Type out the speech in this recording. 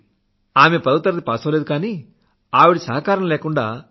నా తల్లి పదవ తరగతి పాసవ్వలేదు కానీ ఆవిడ సహకారం లేకుండా సి